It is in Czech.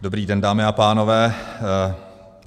Dobrý den, dámy a pánové.